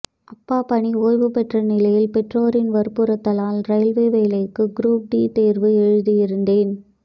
அப்பா பணி ஓய்வு பெற்ற நிலையில் பெற்றோரின் வற்புறுத்தலால் ரயில்வே வேலைக்கு குரூப் டி தேர்வு எழுதியிருந்தேன்